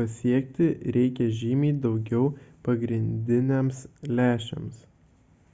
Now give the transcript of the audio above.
pasiekti reikia žymiai daugiau pagrindiniams lęšiams